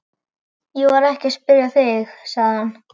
Ég var ekki að spyrja þig, sagði hann.